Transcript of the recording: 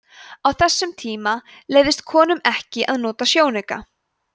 á þessum tíma leyfðist konum ekki að nota sjónauka